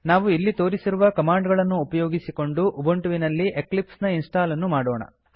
ನಾವು ಇಲ್ಲಿ ತೋರಿಸಿರುವ ಕಮಾಂಡ್ ಗಳನ್ನು ಉಪಯೋಗಿಸಿಕೊಂಡು ಉಬಂಟುವಿನಲ್ಲಿ ಎಕ್ಲಿಪ್ಸ್ ನ ಇನ್ಸ್ಟಾಲ್ ಅನ್ನು ಮಾಡೋಣ